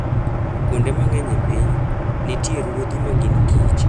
Kuonde mang'eny e piny, nitie ruodhi ma gin kich.